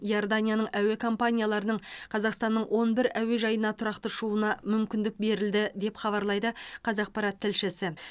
иорданияның әуе компанияларының қазақстанның он бір әуежайына тұрақты ұшуына мүмкіндік берілді деп хабарлайды қазақпарат тілшісі